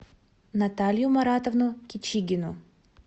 наталью маратовну кичигину